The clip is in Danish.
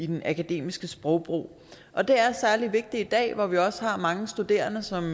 den akademiske sprogbrug og det er særlig vigtigt i dag hvor vi heldigvis også har mange studerende som